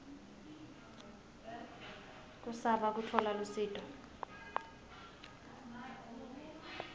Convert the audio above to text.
kusaba kutfola lusito